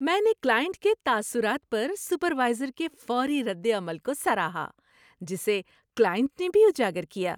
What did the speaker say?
میں نے کلائنٹ کے تاثرات پر سپروائزر کے فوری ردعمل کو سراہا جسے کلائنٹ نے بھی اجاگر کیا۔